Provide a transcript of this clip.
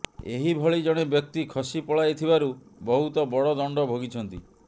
ଏହି ଭଳି ଜଣେ ବ୍ୟକ୍ତି ଖସି ପଳାଇଥିବାରୁ ବହୁତ ବଡ଼ ଦଣ୍ଡ ଭୋଗିଛନ୍ତି